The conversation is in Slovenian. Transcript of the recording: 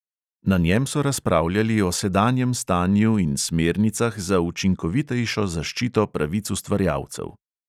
Na njem so razpravljali o sedanjem stanju in smernicah za učinkovitejšo zaščito pravic ustvarjalcev.